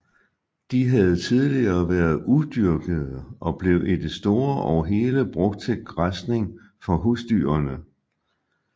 De havde tidligere været udyrkede og blev i det store og hele brugt til græsning for husdyrene